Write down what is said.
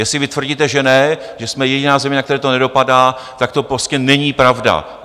Jestli vy tvrdíte, že ne, že jsme jediná země, na kterou to nedopadá, tak to prostě není pravda.